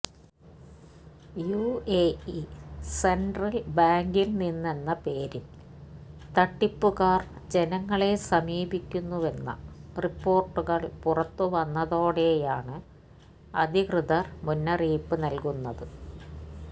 UAE central ബാങ്കില് നിന്നെന്ന പേരില് തട്ടിപ്പുകാര് ജനങ്ങളെ സമീപിക്കുന്നുവെന്ന റിപ്പോര്ട്ടുകള് പുറത്തുവന്നതോടെയാണ് അധികൃതര് മുന്നറിയിപ്പ് നല്കുന്നത്